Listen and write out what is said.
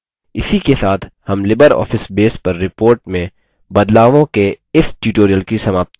इसी के साथ हम libreoffice base पर report में बदलावों के इस tutorial की समाप्ति की ओर a गये हैं